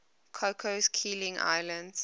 cocos keeling islands